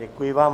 Děkuji vám.